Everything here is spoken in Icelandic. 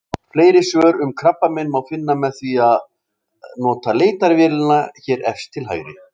Fleiri svör um krabbamein má finna með því að nota leitarvélina hér efst til hægri.